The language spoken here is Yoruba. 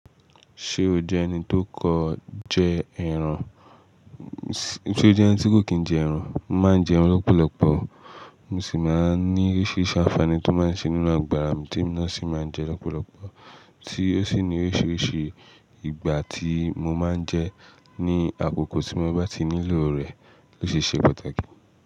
Ṣé o jẹ́ ẹni tó kò kí n jẹ ẹran? Mo máa ń jẹ ẹran lọ́pọ̀lọpọ̀, mo sì máa ń ní oríṣiríṣi àǹfààní tó máa ń ṣe nínú àgbàrá mi tí mo ná sì máa ń jẹ lọ́pọ̀lọpọ̀ tí ó sì ní oríṣiríṣi ìgbà tí mo máa ń jẹ ní àkókò tí mo bá ti nílò rẹ̀ ló ṣe ṣe pàtàkì.